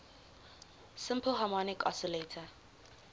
simple harmonic oscillator